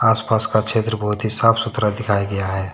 आसपास का क्षेद्र बहुत ही साफ सुथरा दिखाई गया है।